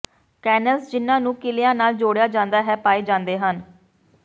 ਕੈਨਣਲਸ ਜਿਨ੍ਹਾਂ ਨੂੰ ਕਿਲ੍ਹਿਆਂ ਨਾਲ ਜੋੜਿਆ ਜਾਂਦਾ ਹੈ ਪਾਏ ਜਾਂਦੇ ਹਨ